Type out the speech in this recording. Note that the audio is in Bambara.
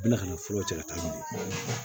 Bɛna nin fura cɛ ka taa